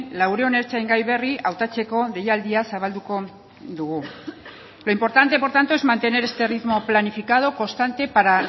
laurehun ertzaingai berri hautatzeko deialdia zabalduko dugu lo importante por tanto es mantener este ritmo planificado constante para